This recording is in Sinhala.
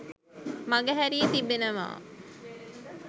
මඟහැරී තිබෙනවා